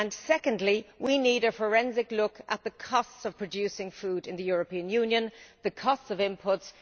Next, we need a forensic look at the costs of producing food in the European Union, the costs of inputs.